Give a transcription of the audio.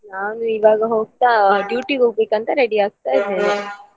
ನಾನು ಇವಾಗ ಹೋಗ್ತಾ duty ಗೆ ಹೋಗ್ಬೇಕಂತ ready ಆಗ್ತಾ ಇದೇನೆ .